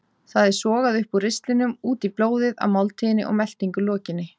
Það er sogað upp úr ristlinum út í blóðið að máltíð og meltingu lokinni.